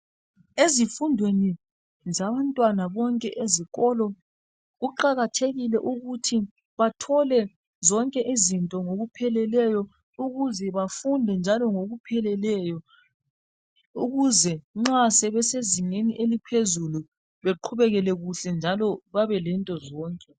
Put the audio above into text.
Ezifundweni zabantwana bonke ezikolo kuqakathekile ukuthi bathole zonke izinto ngokupheleleyo ukuze bafunde njalo ngoku pheleleyo ukuze nxa sebese zingeni eliphezulu beqhubekele kuhle njalo babe lento zonke.